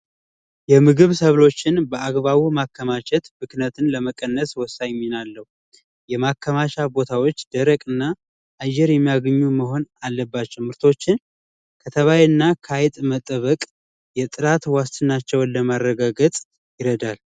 የምግብ ሰብሎችን በአግባቡ ማከማቸት ብክለትን ለመቀነሱ ወሳኝ ሚና አለው ማከናማቻ ቦታዎች ደረቅ እና አየር የሚያገኙ መሆን አለባቸው ምርቶችን ከተባይና ከአይጥ መጠበቅ የምግብ ዋስትናቸውን ለማረጋገጥ ይረዳል።